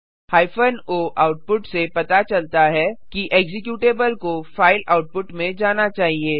hyphen o output से पता चलता है कि एक्जीक्यूटेबल को फाइल आउटपुट में जाना चाहिए